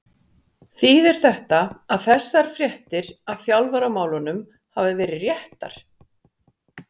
Þýðir þetta að þessar fréttir af þjálfaramálunum hafi verið réttar?